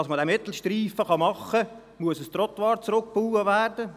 Damit man diesen Mittelstreifen schaffen kann, muss ein Trottoir rückgebaut werden.